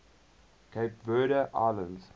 cape verde islands